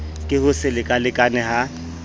ke ho se lekalekane ha